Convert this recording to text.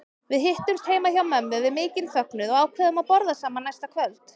Við hittumst heima hjá mömmu við mikinn fögnuð og ákváðum að borða saman næsta kvöld.